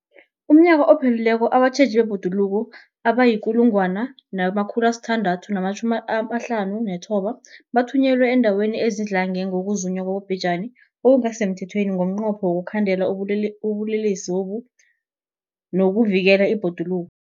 UmNnyaka ophelileko abatjheji bebhoduluko abayi-1 659 bathunyelwa eendaweni ezidlange ngokuzunywa kwabobhejani okungasi semthethweni ngomnqopho wokuyokukhandela ubulelesobu nokuvikela ibhoduluko.